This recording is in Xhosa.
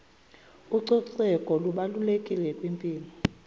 ucoceko lubalulekile kwimpilo